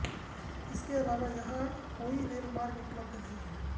इनके अलावा यहां कोई रेल मार्ग उपलब्ध नहीं है